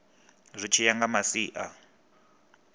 zwi tshi ya nga masia